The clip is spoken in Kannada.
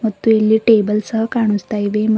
ಮತ್ತು ಇಲ್ಲಿ ಟೇಬಲ್ ಸಹ ಕಾಣಿಸ್ತಾ ಇವೆ.